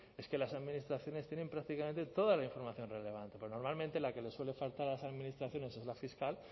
es que las administraciones tienen prácticamente toda la información relevante porque normalmente la que le suele faltar a las administraciones es la fiscal